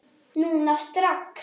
Núna strax?